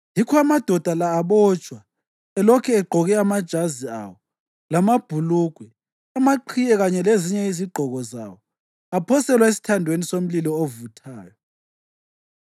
Yikho amadoda la abotshwa elokhu egqoke amajazi awo, lamabhulugwe, amaqhiye kanye lezinye izigqoko zawo, aphoselwa esithandweni somlilo ovuthayo.